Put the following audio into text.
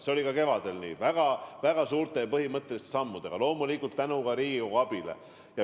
See oli ka kevadel nii, kui me astusime väga suuri ja põhimõttelisi samme, loomulikult ka tänu Riigikogu abile.